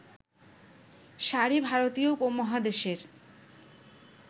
শাড়ি ভারতীয় উপমহাদেশের